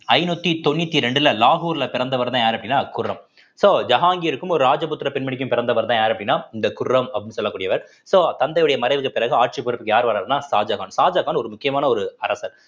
ஐந்நூத்தி தொண்ணூத்தி ரெண்டுல லாகூர்ல பிறந்தவர் தான் யாரு அப்படின்னா குர்ரம் so ஜகாங்கீர்க்கும் ஒரு ராஜபுத்திர பெண்மணிக்கும் பிறந்தவர்தான் யாரு அப்படின்னா இந்த குர்ரம் அப்படின்னு சொல்லக்கூடியவர் so தந்தையுடைய மறைவுக்கு பிறகு ஆட்சிப் பொறுப்புக்கு யார் வர்றாருன்னா ஷாஜகான் ஷாஜகான் ஒரு முக்கியமான ஒரு அரசர்